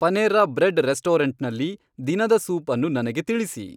Panera Bread ರೆಸ್ಟೋರೆಂಟ್ನಲ್ಲಿ ದಿನದ soup ಅನ್ನು ನನಗೆ ತಿಳಿಸಿ